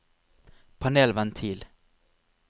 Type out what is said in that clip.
panelventil